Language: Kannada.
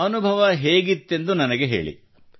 ಅನುಭವ ಹೇಗಿತ್ತೆಂದು ನನಗೆ ಹೇಳಿ